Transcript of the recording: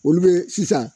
Olu be sisan